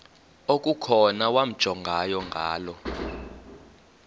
okukhona wamjongay ngaloo